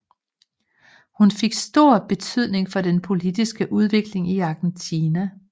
Hun fik stor betydning for den politiske udvikling i Argentina